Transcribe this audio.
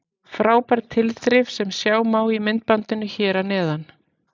Frábær tilþrif sem sjá má í myndbandinu hér að neðan.